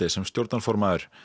sem stjórnarformaður